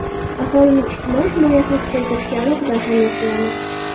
aholining ijtimoiy himoyasini kuchaytirishga alohida ahamiyat beramiz.